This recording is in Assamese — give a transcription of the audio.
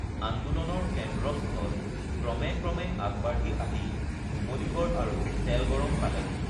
আন্দোলনৰ কেন্দ্ৰস্থল ক্ৰমে ক্ৰমে আগবাঢ়ি আহি নুমলীগড় আৰু তেলগৰম পালেহি